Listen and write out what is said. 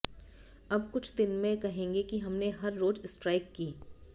अब कुछ दिन में कहेंगे कि हमने हर रोज स्ट्राइक की